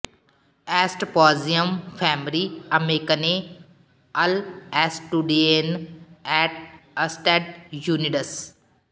ਐਸਟ ਪੌਜ਼ੀਅਮ ਫੈਮਰੀ ਅਮੇਕੰਨੇ ਅਲ ਐਸਟੁਡਿਏਨ ਐਟ ਅਸਟੈਡ ਯੂਨਿਡਸ